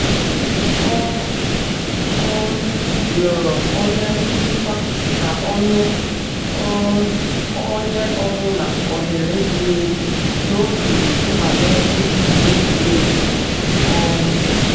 Ọ um rịọrọ onye nchịkwa ka o nye um onye ọ bụla ohere ziri ezi n'oge nnwale otu egwuregwu. um